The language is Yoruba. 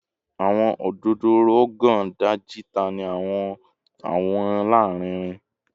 Awọn ododo Rogon Daji tan ni awọn awọ larinrin